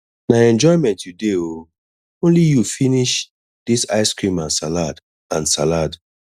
na enjoyment you dey oo only you finish dis ice cream and salad and salad